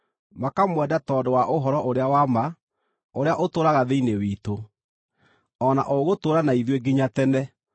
makamwenda tondũ wa ũhoro ũrĩa wa ma, ũrĩa ũtũũraga thĩinĩ witũ, o na ũgũtũũra na ithuĩ nginya tene: